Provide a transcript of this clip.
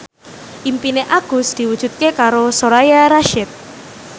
impine Agus diwujudke karo Soraya Rasyid